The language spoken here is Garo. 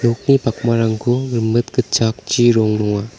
nokni pakmarangko rimit gitchakchi rong nonga.